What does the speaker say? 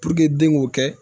den k'o kɛ